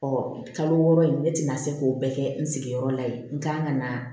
Ɔ kalo wɔɔrɔ in ne tɛna se k'o bɛɛ kɛ n sigiyɔrɔ la yen n kan ka na